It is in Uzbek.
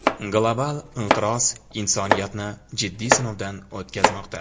global inqiroz insoniyatni jiddiy sinovdan o‘tkazmoqda.